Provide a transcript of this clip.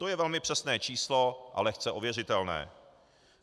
To je velmi přesné číslo a lehce ověřitelné.